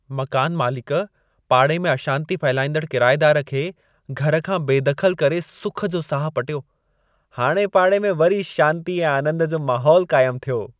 मकान मालिक पाड़े में अशांती फहिलाईंदड़ किरायेदार खे घर खां बेदख़लु करे सुख जो साहु पटियो। हाणे पाड़े में वरी शांती ऐं आनंद जो महोलु क़ाइमु थियो।